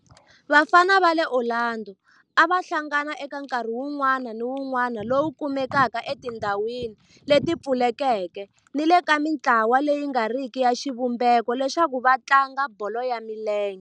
Vafana va le Orlando a va hlangana eka nkarhi wun'wana ni wun'wana lowu kumekaka etindhawini leti pfulekeke ni le ka mintlawa leyi nga riki ya xivumbeko leswaku va tlanga bolo ya milenge.